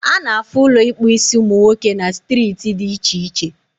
Ana afụ Ụlọ ịkpụ isiumunwoke na striiti dị iche iche